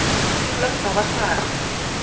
dulang sa ba sa re